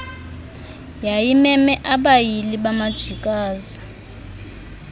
yayimeme abayili bamajikazi